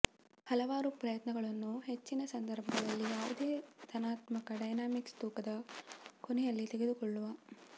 ಹಲವಾರು ಪ್ರಯತ್ನಗಳನ್ನು ಹೆಚ್ಚಿನ ಸಂದರ್ಭಗಳಲ್ಲಿ ಯಾವುದೇ ಧನಾತ್ಮಕ ಡೈನಾಮಿಕ್ಸ್ ತೂಕದ ಕೊನೆಯಲ್ಲಿ ಕಳೆದುಕೊಳ್ಳುವ